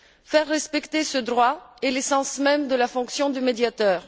Faire respecter ce droit est l'essence même de la fonction de médiateur.